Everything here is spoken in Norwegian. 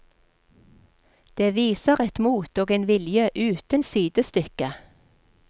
Det viser et mot og en vilje uten sidestykke.